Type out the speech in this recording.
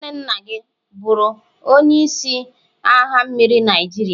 nwanne nna gi oburu onye isi n'agha mmiri Naijiria?